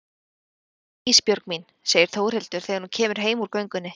Leiddist þér Ísbjörg mín, segir Þórhildur þegar hún kemur heim úr göngunni.